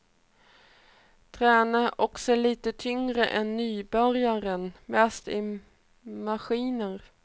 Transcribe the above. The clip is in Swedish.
Tränar också lite tyngre än nybörjaren, mest i maskiner.